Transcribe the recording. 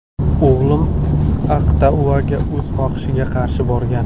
O‘g‘lim Aqtauga o‘z xohishiga qarshi borgan.